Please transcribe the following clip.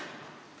Aitäh!